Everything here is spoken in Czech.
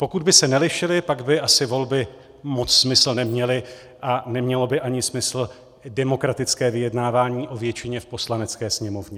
Pokud by se nelišily, pak by asi volby moc smysl neměly a nemělo by ani smysl demokratické vyjednávání o většině v Poslanecké sněmovně.